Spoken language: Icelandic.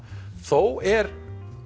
þó er